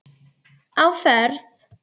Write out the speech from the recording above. Á ferð